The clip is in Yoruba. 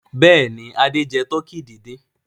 Bẹ́ẹ̀ ni, Adé jẹ tọkí dídín.